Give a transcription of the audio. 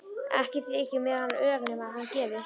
Ekki þyki mér hann ör nema hann gefi.